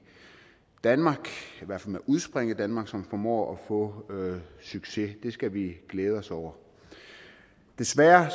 danmark i hvert fald med udspring i danmark som formår at få succes det skal vi glæde os over desværre